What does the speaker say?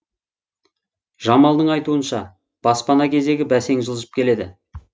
жамалдың айтуынша баспана кезегі бәсең жылжып келеді